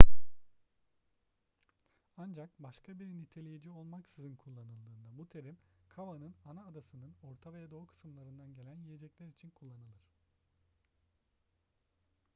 ancak başka bir niteleyici olmaksızın kullanıldığında bu terim cava'nın ana adasının orta ve doğu kısımlarından gelen yiyecekler için kullanılır